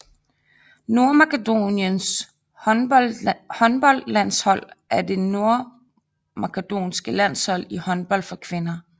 Nordmakedoniens håndboldlandshold er det nordmakedonske landshold i håndbold for kvinder